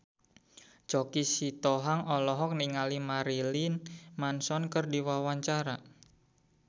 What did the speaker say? Choky Sitohang olohok ningali Marilyn Manson keur diwawancara